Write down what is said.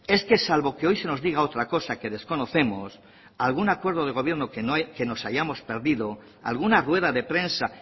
es que salvo que hoy se nos diga otra cosa que desconocemos algún acuerdo de gobierno que nos hayamos perdido alguna rueda de prensa